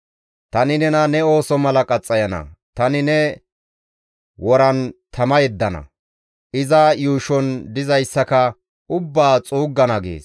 Tani nena ne ooso mala qaxxayana; tani ne woran tama yeddana; iza yuushon dizayssaka ubbaa xuuggana» gees.